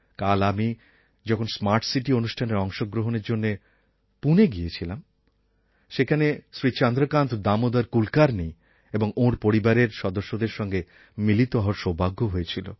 কাল আমি যখন স্মার্ট সিটি অনুষ্ঠানে অংশগ্রহণের জন্য পুনে গিয়েছিলাম সেখানে শ্রী চন্দ্রকান্ত দামোদর কুলকার্ণি এবং ওঁর পরিবারের সদস্যদের সঙ্গে মিলিত হওয়ার সৌভাগ্য হয়েছিল